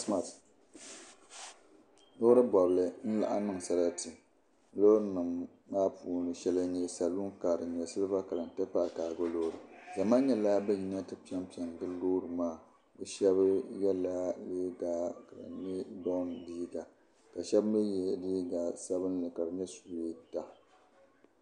loori bɔbili n-laɣim niŋ sarati loori nima maa puuni shɛli n-nyɛ saluunkaa din nyɛ siliba kala n-ti pahi kaago loori zama nyɛla ban yina n-ti pempe n-gili loori maa bɛ yɛla liiga ka di nyɛ -bɔmbiiga ka shɛba mi ye liiga sabilinli ka di nyɛ suweeta